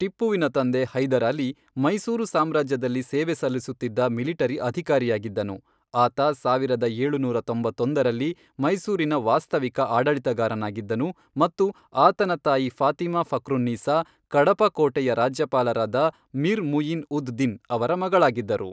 ಟಿಪ್ಪುವಿನ ತಂದೆ, ಹೈದರಾಲಿ, ಮೈಸೂರು ಸಾಮ್ರಾಜ್ಯದಲ್ಲಿ ಸೇವೆ ಸಲ್ಲಿಸುತ್ತಿದ್ದ ಮಿಲಿಟರಿ ಅಧಿಕಾರಿಯಾಗಿದ್ದನು, ಆತ ಸಾವಿರದ ಏಳುನೂರ ತೊಂಬತ್ತೊಂದರಲ್ಲಿ, ಮೈಸೂರಿನ ವಾಸ್ತವಿಕ ಆಡಳಿತಗಾರನಾಗಿದ್ದನು ಮತ್ತು ಆತನ ತಾಯಿ ಫಾತಿಮಾ ಫಕ್ರುನ್ನೀಸಾ ಕಡಪ ಕೋಟೆಯ ರಾಜ್ಯಪಾಲರಾದ ಮಿರ್ ಮುಯಿನ್ ಉದ್ ದಿನ್ ಅವರ ಮಗಳಾಗಿದ್ದರು.